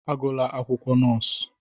Agụla akwụkwọ nọọsụ!